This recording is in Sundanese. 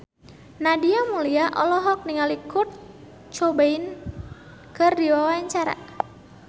Nadia Mulya olohok ningali Kurt Cobain keur diwawancara